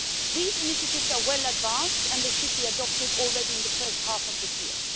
These initiatives are well advanced and they should be adopted already in the first half of this year.